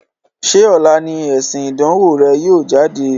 Ṣé ọ̀la ni èsìn ìdánwò rẹ yìí ó jáde?